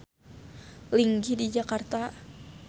Linggih di Jakarta.